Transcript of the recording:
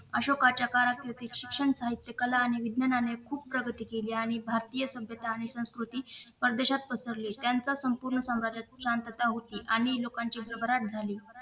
अशोकच्या कारकिर्दीत शिक्षण साहित्य कला आणि विज्ञानाने खूप प्रगती केली आणि भारतीय सभ्यता आणि संस्कृती परदेशात पसरली त्यांचा संपूर्ण साम्राज्यात शांतात होती आणि लोकांची घबराट झाली